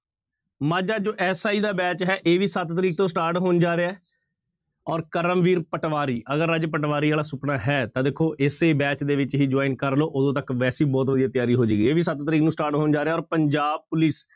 ਮਾਝਾ ਜੋ SI ਦਾ batch ਹੈ ਇਹ ਵੀ ਸੱਤ ਤਰੀਕ ਤੋਂ start ਹੋਣ ਜਾ ਰਿਹਾ ਹੈ ਔਰ ਕਰਮਵੀਰ ਪਟਵਾਰੀ, ਅਗਰ ਰਾਜੇ ਪਟਵਾਰੀ ਵਾਲਾ ਸੁਪਨਾ ਹੈ ਤਾਂ ਦੇਖੋ ਇਸੇ batch ਦੇ ਵਿੱਚ ਹੀ join ਕਰ ਲਓ ਉਦੋਂ ਤੱਕ ਵੈਸੇ ਹੀ ਬਹੁਤ ਵਧੀਆ ਤਿਆਰੀ ਹੋ ਜਾਏਗੀ ਇਹ ਵੀ ਸੱਤ ਤਰੀਕ ਨੂੰ start ਹੋਣ ਜਾ ਰਿਹਾ ਔਰ ਪੰਜਾਬ ਪੁਲਿਸ